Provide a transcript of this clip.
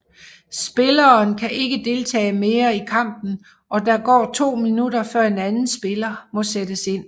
Spilleren kan ikke deltage mere i kampen og der går to minutter før en anden spiller må sættes ind